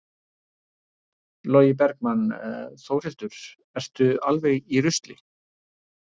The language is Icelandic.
Logi Bergmann: Þórhildur, ertu alveg í rusli?